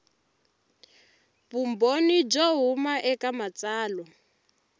vumbhoni byo huma eka matsalwa